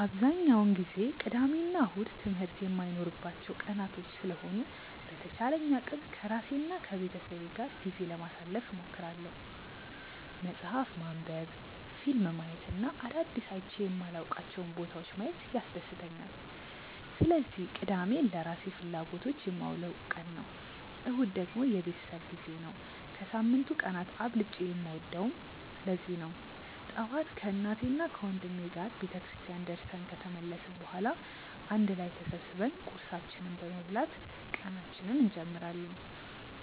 አብዛኛውን ጊዜ ቅዳሜ እና እሁድ ትምህርት የማይኖርባቸው ቀናቶች ስለሆኑ በተቻለኝ አቅም ከራሴ እና ከቤተሰቤ ጋር ጊዜ ለማሳለፍ እሞክራለሁ። መፅሀፍ ማንበብ፣ ፊልም ማየት እና አዳዲስ አይቼ የማላውቃቸውን ቦታዎች ማየት ያስደስተኛል። ስለዚህ ቅዳሜን ለራሴ ፍላጎቶች የማውለው ቀን ነው። እሁድ ደግሞ የቤተሰብ ጊዜ ነው። ከሳምንቱ ቀናት አብልጬ የምወደውም ለዚህ ነው። ጠዋት ከእናቴና ወንድሜ ጋር ቤተክርስቲያን ደርሰን ከተመለስን በኋላ አንድ ላይ ተሰብስበን ቁርሳችንን በመብላት ቀናችንን እንጀምራለን።